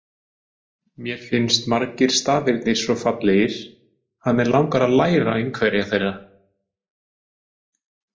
Mér finnst margir stafirnir svo fallegir að mig langar að læra einhverja þeirra!